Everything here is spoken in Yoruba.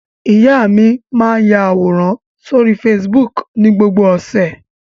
Ìyá mi máa àwòrán sórí Facebook ní gbogbo ọ̀sẹ̀.